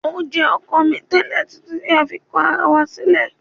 O jẹ ọkọ mi tẹlẹ titi ti a fi kọ ara wa silẹ